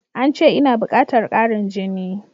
Ance ina bukatar ƙarin jini.